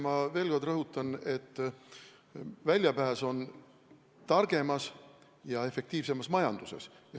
Ma veel kord rõhutan, et väljapääs on targemas ja efektiivsemas majanduses.